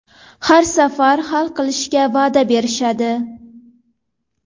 Har safar hal qilishga va’da berishadi.